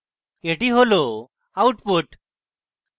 এটি হল output